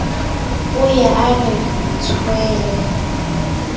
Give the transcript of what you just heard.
o ye a re tshwele